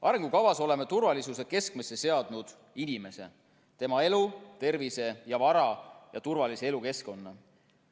Arengukavas oleme turvalisuse keskmesse seadnud inimese, tema elu, tervise ja vara ning turvalise elukeskkonna.